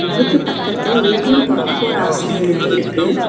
அதுக்கு பக்கத்துல A T M twenty four ஹார்ஸ்னு எழுதியிருக்கு.